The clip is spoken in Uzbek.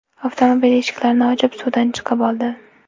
avtomobil eshiklarini ochib, suvdan chiqib oldi.